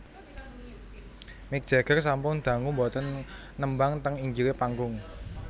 Mick Jagger sampun dangu mboten nembang teng inggile panggung